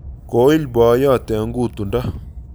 Koil boyot en kutundo